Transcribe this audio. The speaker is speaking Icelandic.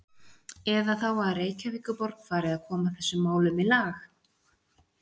Eða þá að Reykjavíkurborg fari að koma þessum málum í lag?